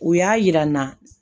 U y'a yira n na